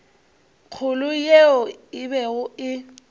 kgolo yeo e bego e